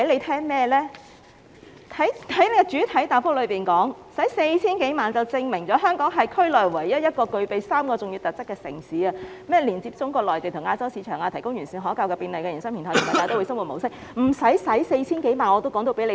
他在主體答覆表示，花 4,000 多萬元，是證明了香港是區內唯一一個具備3項重要特質的城市：連接中國內地及亞洲市場、提供完善可靠和便利的營商平台，以及大都會生活模式。